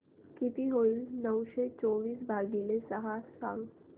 किती होईल नऊशे चोवीस भागीले सहा सांगा